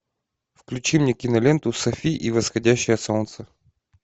включи мне киноленту софи и восходящее солнце